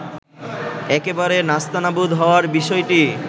একেবারে নাস্তানাবুদ হওয়ার বিষয়টি